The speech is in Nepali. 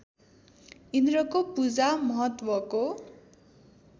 इन्द्रको पूजा महत्त्वको